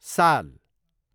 साल